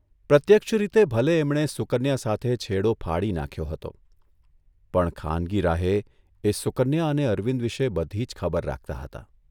પ્રત્યક્ષ રીતે ભલે એમણે સુકન્યા સાથે છેડો ફાડી નાંખ્યો હતો, પણ ખાનગી રાહે એ સુકન્યા અને અરવિંદ વિશે બધી જ ખબર રાખતા હતા.